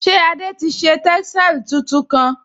Ṣé Adé ti ṣe tẹ́sàlí tuntun kán?